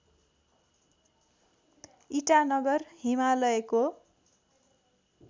ईटानगर हिमालयको